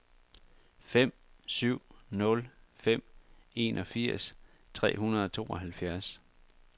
fem syv nul fem enogfirs tre hundrede og tooghalvfjerds